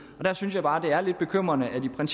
og der synes jeg bare det er lidt bekymrende at man